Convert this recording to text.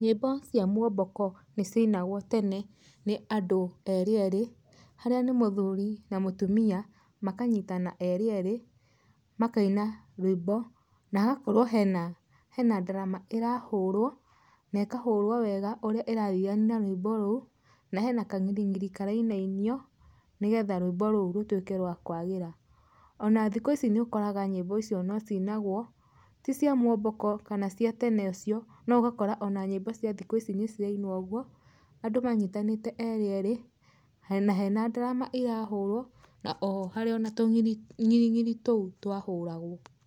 Nyĩmbo cia muomboko nĩ ciainagwo tene nĩ andũ eerĩ eerĩ, harĩa nĩ mũthuri na mũtumia makanyitana eerĩ eerĩ, makaina rwĩmbo na hagakorwo hena ndarama ĩrahũrwo, na ĩkahũrwo wega ũrĩa ĩrathiania na rwĩmbo rũu, na hena kang'iring'iri karainainio nĩ getha rwĩmbo rũu rũtuĩke rwa kwagĩra. Ona thikũ ici nĩ ũkoraga nyĩmbo icio no cinagwo, ti cia muomboko kana cia tene ũcio, no ũgakora ona nyĩmbo cia thikũ ici nĩ cirainwo ũguo, andũ manyitanĩte eerĩ eerĩ, na hena ndarama ĩrahũrwo, na oho harĩ o na tũng'iring'iri tũu twahũragwo.